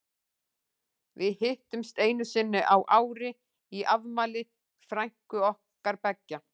Við hittumst einu sinni á ári í afmæli frænku okkar beggja.